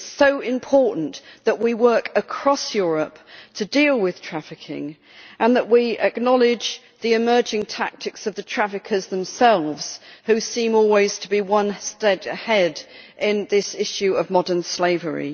It is so important that we work across Europe to deal with trafficking and that we acknowledge the emerging tactics of the traffickers themselves, who seem always to be one step ahead in this issue of modern slavery.